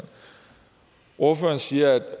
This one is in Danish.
ordføreren siger at